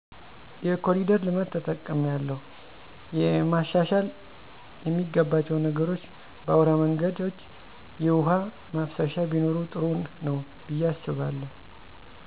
የኮሊደር ልማት ተጠቅሚያለሁ። የመሻሻል የሚገባቸዉ ነገሮች በአዉራ መንገድች የዉሀ መፍሰሻ ቢኖር ጥሩ ነዉ ብየ አስባለሁ